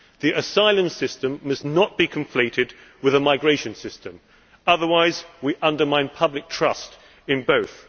The asylum system must not be conflated with a migration system, otherwise we undermine public trust in both.